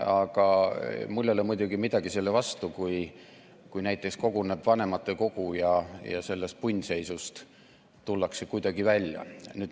Aga mul ei ole muidugi midagi selle vastu, kui näiteks koguneb vanematekogu ja sellest punnseisust tullakse kuidagi välja.